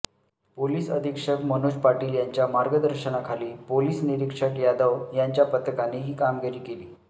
police अधीक्षक मनोज पाटील यांच्या मार्गदर्शनाखाली पोलीस निरीक्षक यादव यांच्या पथकाने ही कामगिरी केली